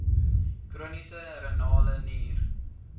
chroniese renale nier